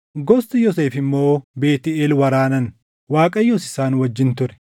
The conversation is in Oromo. Gosti Yoosef immoo Beetʼeel waraanan; Waaqayyos isaan wajjin ture.